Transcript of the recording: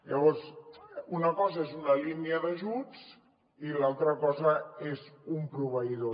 llavors una cosa és una línia d’ajuts i l’altra cosa és un proveïdor